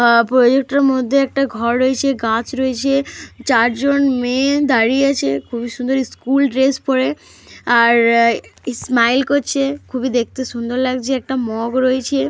আঃ project -এর মধ্যে একটা ঘর রয়েছে গাছ রয়েছে। চারজন মেয়ে দাঁড়িয়ে আছে। খুবই সুন্দর ইস্কুল ড্রেস পরে। আর স্মাইল করছে খুবই দেখতে সুন্দর লাগছে। একটা মগ রয়েছে।